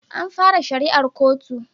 An fara shari'ar kotun